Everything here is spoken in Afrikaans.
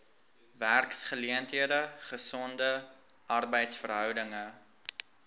werksgeleenthede gesonde arbeidsverhoudinge